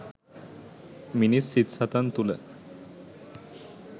මිනිස් සිත් සතන් තුළ